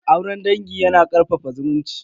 Auren dangi yana karfafa zumunci.